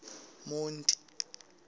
monti